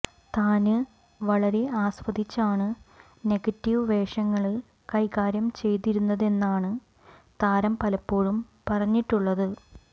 താന് വളരെ ആസ്വദിച്ചാണ് നെഗറ്റീവ് വേഷങ്ങള് കൈകാര്യം ചെയ്തിരുന്നതെന്നാണ് താരം പലപ്പോഴും പറഞ്ഞിട്ടുള്ളത്